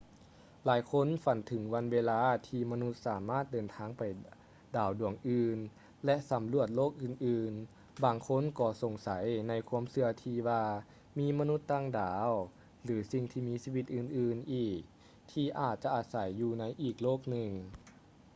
ຫຼາຍຄົນຝັນເຖິງວັນເວລາທີ່ມະນຸດສາມາດເດີນທາງໄປດາວດວງອື່ນ ແລະ ສຳຫຼວດໂລກອື່ນໆ ບາງຄົນກໍສົງໄສໃນຄວາມເຊື່ອທີ່ວ່າມີມະນຸດຕ່າງດາວ ຫຼື ສິ່ງທີ່ຊີວິດອື່ນໆອີກທີ່ອາດຈະອາໄສຢູ່ໃນອີກໂລກໜຶ່ງ